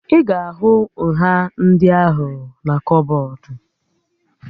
Ị ga-ahụ nha ndị ahụna kọbọd